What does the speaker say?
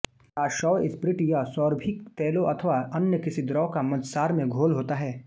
प्रासव spirit यह सौरभिक तैलों अथवा अन्य किसी द्रव का मद्यसार में घोल होता है